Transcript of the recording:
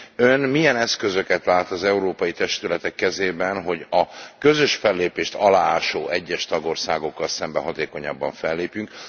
De Ön milyen eszközöket lát az európai testületek kezében, hogy a közös fellépést aláásó egyes tagországokkal szemben hatékonyabban fellépjünk?